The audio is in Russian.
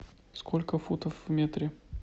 сколько футов в метре